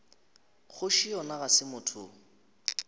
kgoši yona ga se motho